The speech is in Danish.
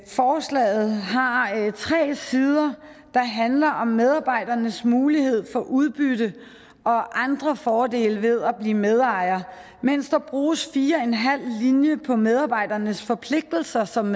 forslaget har tre sider der handler om medarbejdernes mulighed for udbytte og andre fordele ved at blive medejere mens der bruges fire og en halv linje på medarbejdernes forpligtelser som